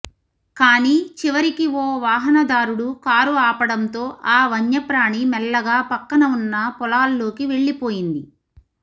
కానీ చివరికి ఓ వాహనదారుడు కారు ఆపడంతో ఆ వన్యప్రాణి మెల్లగా పక్కన ఉన్న పొలాల్లోకి వెళ్ళిపోయింది